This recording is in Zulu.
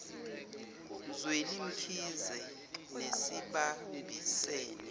zweli mkhize nesibambisene